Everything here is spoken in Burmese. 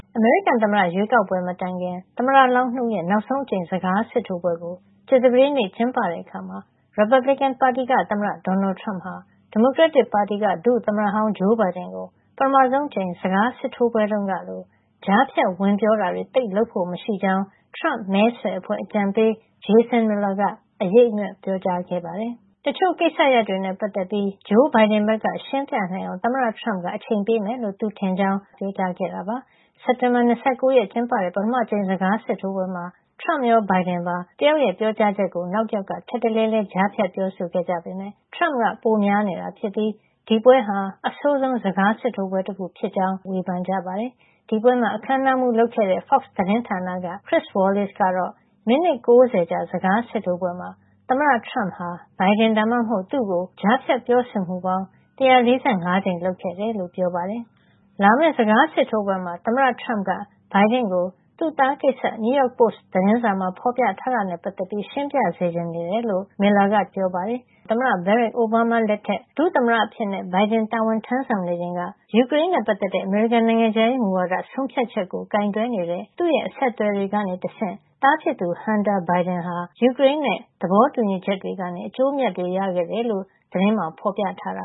အမေရိကန်သမ္မတရွေးကောက်ပွဲ မတိုင်ခင် သမ္မတလောင်း ၂ ဦးရဲ့ နောက်ဆုံးအကြိမ် စကားစစ်ထိုးပွဲကို ကြာသပတေးနေ့ ကျင်းပတဲ့အခါမှာ ရီပတ်ဘလစ်ကန်ပါတီက သမ္မတ Donald Trump ဟာ ဒီမိုကရက်တစ်ပါတီက ဒုသမ္မတဟောင်း Joe Biden ကို ပထမဆုံးအကြိမ် စကားစစ်ထိုးပွဲတုန်းကလို ကြားဖြတ်ဝင်ပြောတာတွေ သိပ်လုပ်ဖို့မရှိကြောင်း Trump မဲဆွယ်အဖွဲ့ အကြံပေး Jason Miller က အရိပ်အမြွက် ပြောကြားခဲ့ပါတယ်။ တချို့ကိစ္စရပ်တွေနဲ့ ပတ်သက်ပြီး Joe Biden ဘက်က ရှင်းပြနိုင်အောင် သမ္မတ Trump က အချိန်ပေးမယ်လို့ သူထင်ကြောင်း Fox သတင်းဌာန မေးမြန်းခန်းမှာ Miller က ပြောခဲ့တာပါ။ စက်တင်ဘာ ၂၉ ရက်မှာ ကျင်းပတဲ့ ပထမအကြိမ် စကားစစ်ထိုးပွဲမှာ Trump ရော Biden ပါ တယောက်ပြောကြားချက်ကို နောက်တယောက်က ထပ်တလဲလဲ ကြားဖြတ်ပြောဆိုခဲ့ကြပေမယ့် Trump က ပိုများနေတာဖြစ်ပြီး ဒီပွဲဟာ အဆိုးဆုံး စကားစစ်ထိုးပွဲတခု ဖြစ်ကြောင်း အမေရိကန် နိုင်ငံရေးသုံးသပ်သူတွေက ဝေဖန်ကြပါတယ်။ ဒီပွဲမှာ အခန်းအနားမှူး လုပ်ခဲ့တဲ့ Fox သတင်းဌာနက Chris Wallace ကတော့ မိနစ် ၉၀ ကြာ စကားစစ်ထိုးပွဲမှာ သမ္မတ Trump ဟာ Biden ဒါမှမဟုတ် သူ့ကို ကြားဖြတ်ပြောဆိုမှုပေါင်း ၁၄၅ ကြိမ် လုပ်ခဲ့တယ်လို့ ပြောပါတယ်။ လာမယ့် စကားစစ်ထိုးပွဲမှာ သမ္မတ Trump က Biden ကို သူ့သားကိစ္စ New York Post သတင်းစာမှာ ဖော်ပြထားတာနဲ့ ပတ်သက်ပြီး ရှင်းပြစေချင်နေတယ်လို့ Miller က တနင်္ဂနွေနေ့မှာ ပြောပါတယ်။ ၂၀၀၉-၂၀၁၇ သမ္မတ Barack Obama လက်ထက် ဒုသမ္မတအဖြစ် Biden တာဝန်ထမ်းဆောင်နေချိန်က ယူကရိန်းနဲ့ ပတ်သက်တဲ့ အမေရိကန် နိုင်ငံခြားရေးမူဝါဒ ဆုံးဖြတ်ချက်ကို ကိုင်တွယ်နေတဲ့ သူ့အဆက်အသွယ်တွေကနေ တဆင့် သားဖြစ်သူ Hunter Biden ဟာ ယူကရိန်းနဲ့ သဘောတူညီချက်တွေကနေ အကျိုးအမြတ်တွေ ရခဲ့တယ်လို့ သတင်းမှာ ဖော်ပြထားတာ